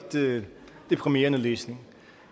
deprimerende læsning